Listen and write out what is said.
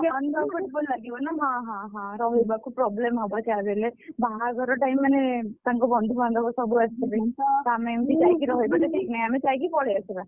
Uncomfortable ଲାଗିବା ନା ହଁ ରହିବାକୁ problem ହବ, ଯାହା ବି ହେଲେ ବାହାଘର time ମାନେ ତାଙ୍କ ବନ୍ଧୁବାନ୍ଧବ ସବୁ ଆସିଥିବେ ହଁ ଆମେ ଏମିତି ଯାଇକି ରହିବା ତ ଠିକ୍ ନାଇ, ଆମେ ଯାଇକି ପଳେଇ ଆସିବା।